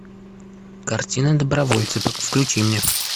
картина добровольцы включи мне